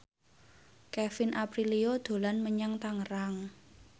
Kevin Aprilio dolan menyang Tangerang